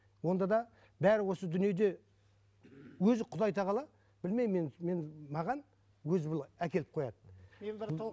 онда да бәрі осы дүниеде өзі құдай тағала білмеймін мен мен маған өзі былай әкеліп қояды мен бір толық